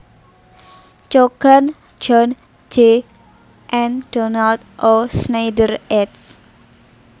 Cogan John J and Donald O Schneider eds